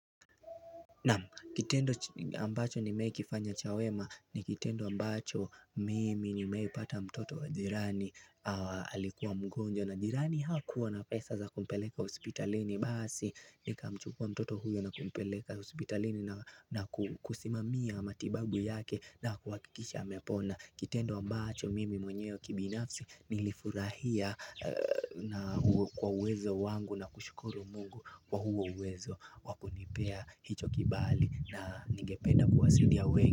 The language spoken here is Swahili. Naam kitendo ambacho nimewahi kufanya cha wema ni kitendo ambacho mimi nimei pata mtoto wa jirani alikuwa mgonjwa na jirani hakuwa na pesa za kumpeleka hispitalini basi nika mchukua mtoto huyo na kumpeleka hosipitalini na kusimamia matibabu yake na kuhakikisha amepona Kitendo ambacho mimi mwenyewe kibinafsi nilifurahia.na kwa uwezo wangu na kushukuru mungu kwa huo uwezo wakunipea hicho kibali na ningependa kuwasidia wengi.